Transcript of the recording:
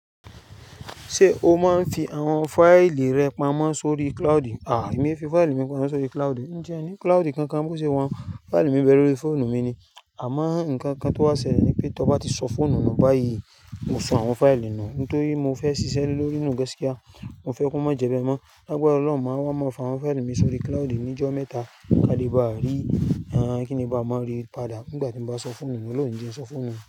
Ṣé o máa ń fi àwọn fáìlì rẹ pamọ́ sórí cloudu? À, èmi fi fáìlì mi pamọ́ sórí cloudu. Ǹjẹ́ ẹ ní cloudu kan kan bó ṣe wọ́n. Fáìlì mi nbẹ lórí fóònù mi ni. Àmọ́ nǹkan kan tó wà ṣẹlẹ̀ ni pé tó bá ti sọ fóònù nù báyìí, mo sọ àwọn fáìlì nu. Òun tí mo fẹ́ ṣiṣẹ́ Le lórí nù gas kíá. Mo fẹ́ kí wọ́n má jẹ bẹ mọ́. Lágbára ọlọ́run, màá wá máa fa àwọn fáìlì mi sórí cloudu ní ọjọ́ mẹ́ta. Kádì bá rí, àírán kí nì bá máa ríi padà nígbà tí mo bá sọ fóònù mi lónìí tí ẹ ń sọ fóònù.